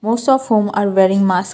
most of home are wearing mask.